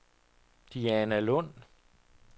Dianalund